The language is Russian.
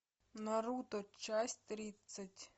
наруто часть тридцать